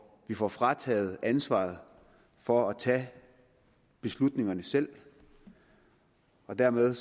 vi får frataget ansvaret for at tage beslutningerne selv og dermed